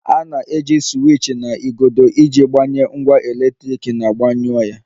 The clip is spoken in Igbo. A na-eji siwiich na igodo iji gbanye ngwa eletriki na gbanyụọ ya